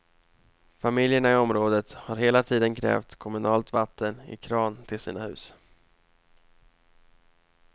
Familjerna i området har hela tiden krävt kommunalt vatten i kran till sina hus.